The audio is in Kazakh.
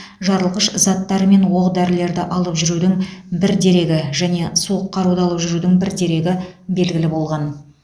жарылғыш заттар мен оқ дәрілерді алып жүрудің бір дерегі және суық қаруды алып жүрудің бір дерегі белгілі болған